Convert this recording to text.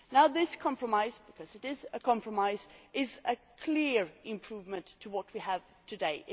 This compromise because it is a compromise is a clear improvement on what we had today.